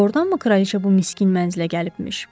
Doğrudanmı kraliçə bu miskin mənzilə gəlibmiş?